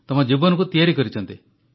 ଆପଣଙ୍କ ଜୀବନକୁ ତିଆରିଛନ୍ତି